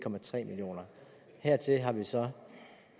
millioner hertil har vi så